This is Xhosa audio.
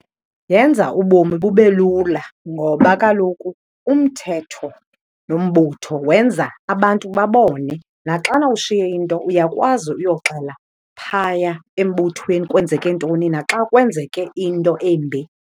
Yenza ubomi bube lula ngoba kaloku umthetho nombutho wenza abantu babone. Naxana ushiye into uyakwazi uyoxela phaya embuthweni kwenzeke ntoni, naxa kwenzeke into embi.